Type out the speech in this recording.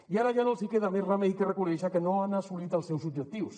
i ara ja no els queda més remei que reconèixer que no han assolit els seus objectius